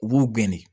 U b'u gɛn de